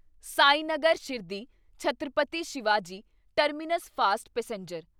Sainagar Shirdi Chhatrapati Shivaji terminus fast passenger